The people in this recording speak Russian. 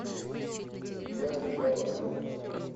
веру николаеву